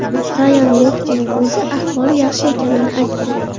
Rayan Loxtening o‘zi ahvoli yaxshi ekanini aytdi.